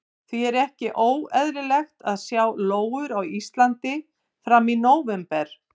Því er ekki óeðlilegt að sjá lóur á Íslandi fram í nóvember.